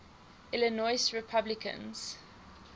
illinois republicans